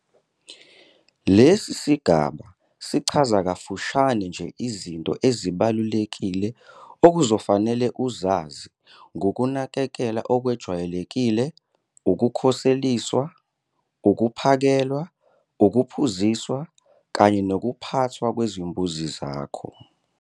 Lesi sigaba sichaza kafushane nje izinto ezibalulekile okuzofanele uzazi ngukunakekela okwejwayelekile, ukukhoseliswa, ukuphakelwa, ukuphuziswa kanye nokuphathwa kwezimbuzi zakho.